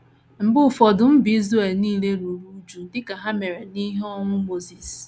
Mgbe ụfọdụ, mba Israel nile ruru újú, dị ka ha mere n’ihi ọnwụ Mosis.